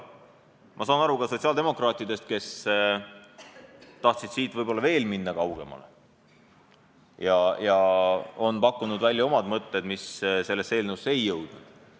Ma saan aru ka sotsiaaldemokraatidest, kes tahtsid võib-olla veel kaugemale minna ja on pakkunud välja omad mõtted, mis sellesse eelnõusse ei jõudnud.